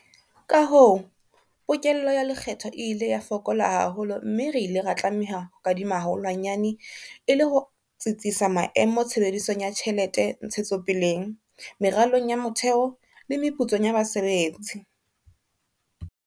Ka hoo, pokello ya lekgetho e ile ya fokola haholo mme re ile ra tlameha ho kadima haholwanyane e le ho tsitsisa maemo tshebedisong ya tjhelete ntshetsopeleng, meralong ya motheo le meputsong ya basebetsi.